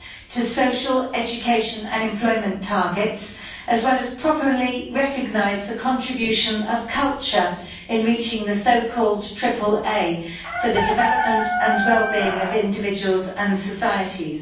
to social education and employment targets, as well as properly recognise the contribution of culture in reaching the so called AAA for the development and well being of individuals and societies.